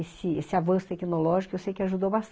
Esse, esse avanço tecnológico eu sei que ajudou bastante